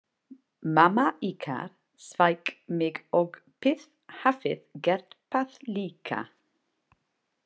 Mamma ykkar sveik mig og þið hafið gert það líka.